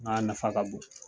nafa ka bon.